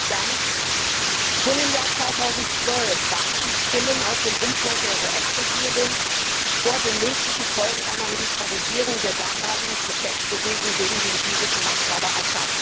Herr Präsident! Schon im Jahr 2012 warnten Stimmen aus dem Umfeld der US Regierung vor den möglichen Folgen einer Militarisierung der damaligen Protestbewegung gegen den syrischen Machthaber Assad.